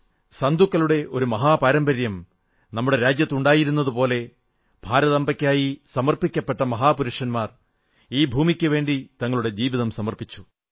സന്തുകളുടെ ഒരു മഹാപാരമ്പര്യം നമ്മുടെ രാജ്യത്തുണ്ടായിരുന്നതുപോലെ ഭാരതാംബയ്ക്കായി സമർപ്പിക്കപ്പെട്ട മഹാപുരുഷന്മാർ ഈ ഭൂമിയ്ക്കുവേണ്ടി തങ്ങളുടെ ജീവിതം സമർപ്പിച്ചു